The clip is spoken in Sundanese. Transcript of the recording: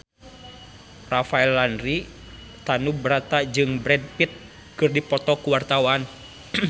Rafael Landry Tanubrata jeung Brad Pitt keur dipoto ku wartawan